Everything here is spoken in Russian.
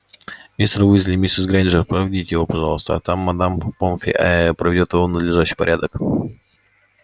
мистер уизли миссис грэйнджер проводите его пожалуйста а там мадам помфри эээ приведёт его в надлежащий порядок